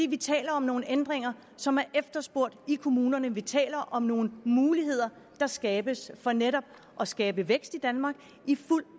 vi taler om nogle ændringer som er efterspurgt i kommunerne vi taler om nogle muligheder der skabes for netop at skabe vækst i danmark i fuld